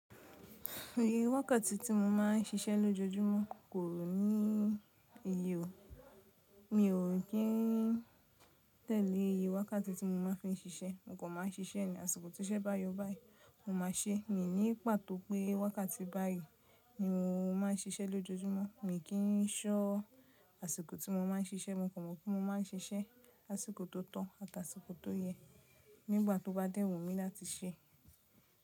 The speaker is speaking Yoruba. Iye wákàtí tí mo ma ń ṣiṣẹ́ lójoojúmọ́ kò ní iye ò. Mi ò kín tẹ̀lé iye wákàtí tí mo ma fi ń ṣiṣẹ́. Mo kan máa ń ṣiṣẹ́ ní, àsìkò tí iṣẹ́ báyo báyìí, mo máa ṣé. Míi ní pàtó pé wákàtí báyìí ni mo ma ń ṣiṣẹ́ lójoojúmọ́. Mi kì í ṣọ́ àsìkò tí mo ma ń ṣiṣẹ́. Mo kò mọ̀ pé mo ma ń ṣiṣẹ́ ni àsìkò tó to àti àsìkò tó yẹ nígbà tó bá dẹ́ wumí láti ṣe.